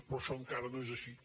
però això encara no és així